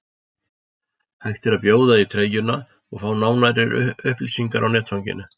Hægt er að bjóða í treyjuna og fá nánari upplýsingar á netfanginu.